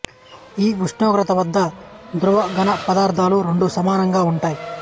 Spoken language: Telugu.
ఈ ఉష్ణోగ్రత వద్ద ద్రవ ఘన పదార్ధాలు రెండు సమానంగా ఉంటాయి